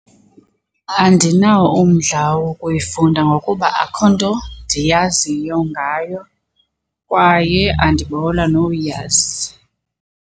Andinawo umdla wokuyifunda ngokuba akho nto ndiyaziyo ngayo kwaye andibawela nowuyazi.